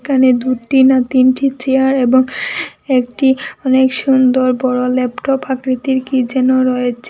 এখানে দুটি না তিনটি চেয়ার এবং একটি অনেক সুন্দর বড়ো ল্যাপটপ আকৃতির কী যেন রয়েছে।